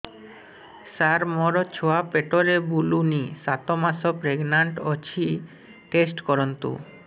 ସାର ମୋର ଛୁଆ ପେଟରେ ବୁଲୁନି ସାତ ମାସ ପ୍ରେଗନାଂଟ ଅଛି ଟେଷ୍ଟ କରନ୍ତୁ